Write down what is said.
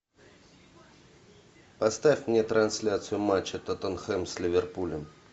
поставь мне трансляцию матча тоттенхэм с ливерпулем